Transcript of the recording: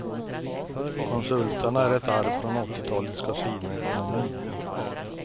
Konsulterna är ett arv från åttiotalets kasinoekonomi.